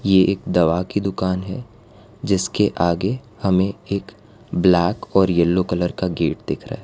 ये एक दवा की दुकान है जिसके आगे हमे एक ब्लैक और यलो कलर का गेट दिख रहा है।